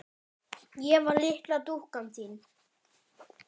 Ég var litla dúkkan þín.